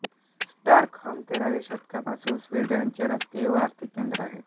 Stockholm तेराव्या शतकापासून स्वीडनचे राजकीय व आर्थिक केंद्र आहे